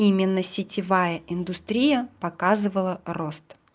именно сетевая индустрия показывала рост